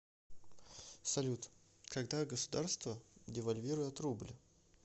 салют когда государство девальвирует рубль